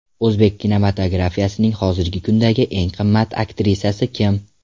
O‘zbek kinematografiyasining hozirgi kundagi eng qimmat aktrisasi kim?